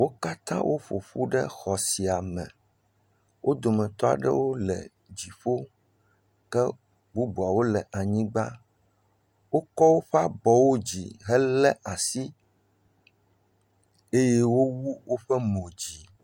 Wo katã wo ƒoƒu ɖe xɔ sia me wo dometɔ aɖewo wole dziƒo, ke bubuawo le anyigba. Wokɔ woƒe abɔwo dzi helé asi. Eye wowu woƒe mo dzi.